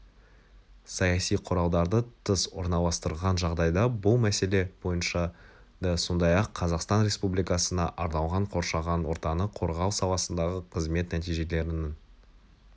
саяси құралдарды тыс орналастырған жағдайда бұл мәселе бойынша да сондай-ақ қазақстан республикасына арналған қоршаған ортаны қорғау саласындағы қызмет нәтижелерінің